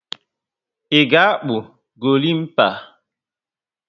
I ga akpu gorimpa?